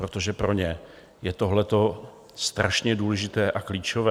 Protože pro ně je tohleto strašně důležité a klíčové.